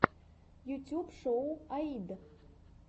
ютуб шоу аид